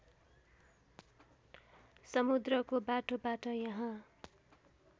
समुद्रको बाटोबाट यहाँ